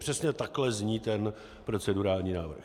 Přesně takhle zní ten procedurální návrh.